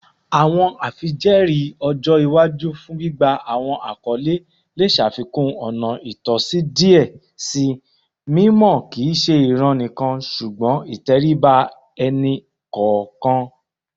Awọn afijẹẹri ọjọ iwaju fun gbigba awọn akọle le ṣafikun ọna itọsi diẹ sii, mimọ kii ṣe iran nikan ṣugbọn iteriba ẹni kọọkan